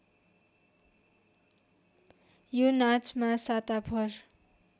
यो नाचमा साताभर